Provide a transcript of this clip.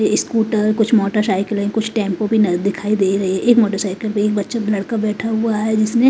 scooter कुछ मोटरसाइकिलें कुछ टेंपो भी न दिखाई दे रहे एक मोटरसाइकिल भी बच्चों लड़का बैठा हुआ है जिसने--